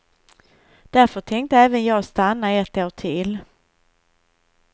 Därför tänkte även jag stanna ett år till.